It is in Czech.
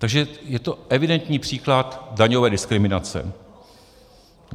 Takže je to evidentní příklad daňové diskriminace.